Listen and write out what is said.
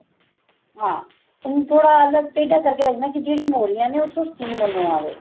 ਹਾਂ ਉਨੂੰ ਥੋੜਾ ਅਲੱਗ ਟੇਡਾ ਕਰ ਕੇ ਰੱਖਣਾ ਜਿਹੜੀਆਂ ਮੋਰੀਆਂ ਨੇ ਉੱਥੋ steam ਉਨੂੰ ਆਵੇ